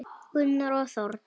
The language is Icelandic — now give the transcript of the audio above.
Gunnar og Þórdís.